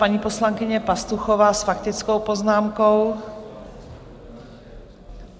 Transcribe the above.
Paní poslankyně Pastuchová s faktickou poznámkou.